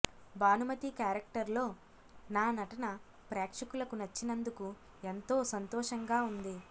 భానుమతి క్యారెక్టర్లో నా నటన ప్రేక్షకులకు నచ్చినందుకు ఎంతో సంతోషంగా ఉంది